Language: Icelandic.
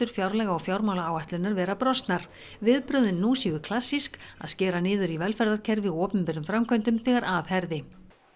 fjárlaga og fjármálaáætlunar vera brostnar viðbrögðin nú séu klassísk að skera niður í velferðarkerfi og opinberum framkvæmdum þegar að herði